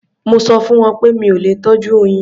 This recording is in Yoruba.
Mo sọ fún wọn pé mi ò lè tọ́jú oyin.